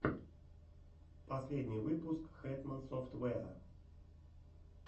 последний выпуск хэтман софтвэа